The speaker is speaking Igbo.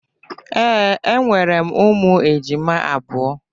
Ee, enwere m ụmụ ejima abụọ.